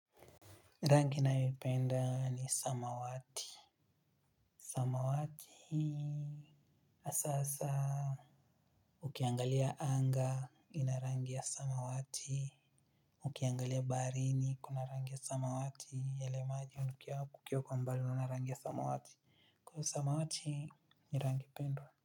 Rangi nayoipenda ni samawati samawati asa hasa ukiangalia anga ina rangi ya samawati ukiangalia baharini iko na rangi ya samawati yale maji hunukia kukiwa kwa mbali unaona rangi ya samawati kwaio samawati ni rangi pendwa.